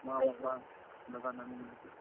ମାଁ, ବାପା, ଦାଦା, ନାନି ମାନ୍ କେ।